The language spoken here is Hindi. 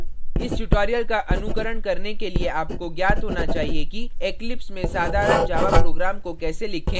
इस tutorial का अनुकरण करने के लिए आपको ज्ञात होना चाहिए कि eclipse में साधारण java program को कैसे लिखे और रन करें